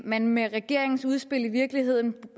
man med regeringens udspil i virkeligheden